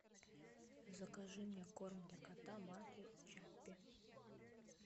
закажи мне корм для кота марки чаппи